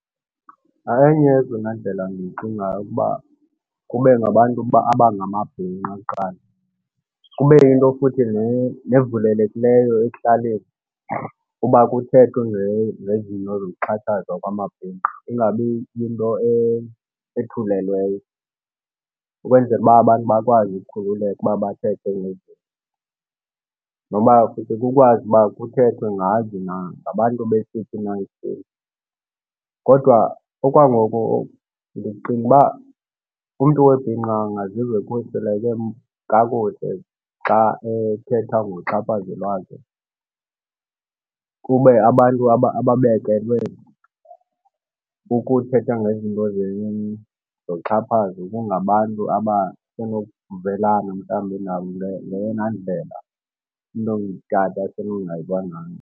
Enye yezona ndlela ndiyicingayo ukuba kube ngabantu abangamabhinqa kuqala. Kube yinto futhi nevulelekileyo ekuhlaleni uba kuthethwe ngezinto zokuxhatshazwa kwamabhinqa, ingabi yinto ethulekileyo ukwenzela uba abantu bakwazi ukukhululeka uba bathethe ngezi zinto. Noba futhi kukwazi ukuba kuthethwe ngazo na ngabantu besiphi na isini. Kodwa okwangoku ndicinga uba umntu webhinqa angaziva ekhuseleke kakuhle xa ethetha ngoxhaphazo lwakhe kube abantu ababekelwe ukuthetha ngezinto zoxhaphazo kungabantu abasenokuvelana mhlambi nabo ngeyona ndlela umntu ongutata asenongayiva ngayo.